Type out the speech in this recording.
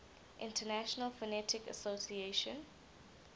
international phonetic association